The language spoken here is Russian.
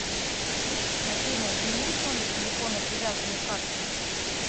афина заменить номер телефона привязанный к карте